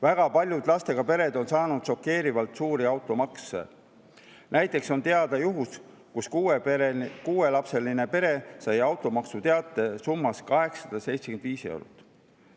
Väga paljud lastega pered on saanud teate šokeerivalt suure automaksu kohta: näiteks on teada juhtum, kus kuuelapseline pere sai automaksuteate summas 875 eurot.